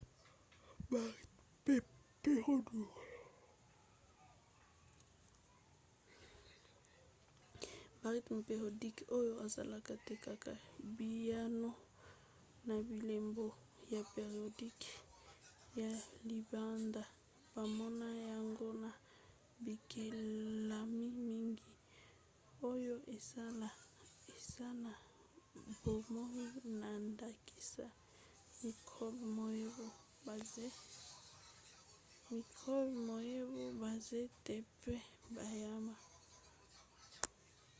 barythmes périodiques oyo ezalaka te kaka biyano na bilembo ya périodiques ya libanda bamona yango na bikelamu mingi oyo eza na bomoi na ndakisa mikrobe mayebo banzete mpe banyama